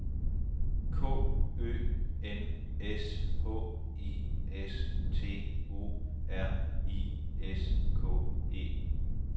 K Ø N S H I S T O R I S K E